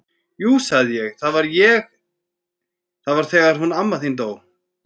Jú sagði ég, það var þegar hún amma þín dó